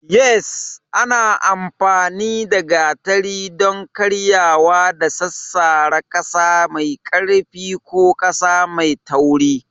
Yes, ana amfani da gatari don karyewa da sassara ƙasa mai ƙarfi ko ƙasa mai tauri.